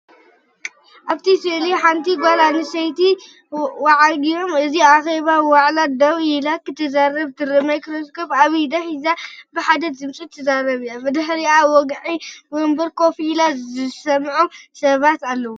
ኣብቲ ስእሊ ሓንቲ ጓል ኣንስተይቲ ኣብ ወግዓዊ ክፍሊ ኣኼባ ወይ ዋዕላ ደው ኢላ ክትዛረብ ትርአ። ማይክሮፎን ኣብ ኢዳ ሒዛ ብሓደ ድምጺ ትዛረብ ኣላ። ብድሕሪኣ ኣብ ወግዓዊ መንበር ኮፍ ኢሎም ዝሰምዑ ሰባት ኣለዉ።